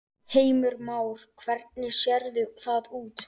Heimir Már: Hvernig sérðu það út?